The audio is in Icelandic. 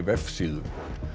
vefsíðu